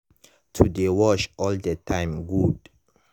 to dey wash all the time good.